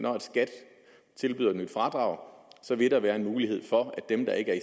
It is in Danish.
tilbyder et nyt fradrag så vil der være en mulighed for at dem der ikke er i